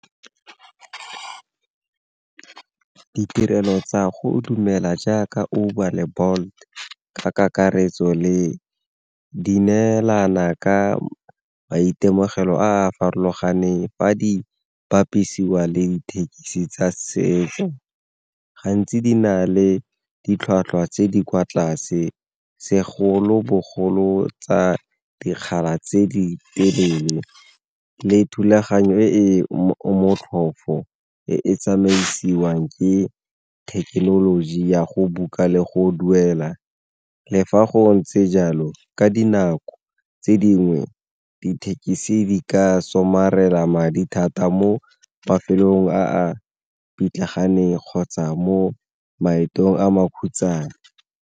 Ditirelo tsa go jaaka Uber le Bolt ka kakaretso le di neelana ka maitemogelo a a farologaneng fa di bapisiwa le dithekisi tsa setso, gantsi di na le ditlhwatlhwa tse di kwa tlase segolobogolo tsa dikgala tse di telele le thulaganyo e e motlhofo e tsamaisiwang ke thekenoloji ya go book-a le go duela. Le fa go ntse jalo ka dinako tse dingwe dithekisi ka somarela madi thata mo mafelong a pitlaganeng kgotsa mo maetong a makhutshwane.